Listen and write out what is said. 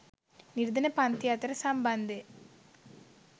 නිර්ධන පංතිය අතර සම්බන්ධය